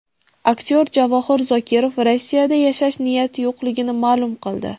Aktyor Javohir Zokirov Rossiyada yashash niyati yo‘qligini ma’lum qildi.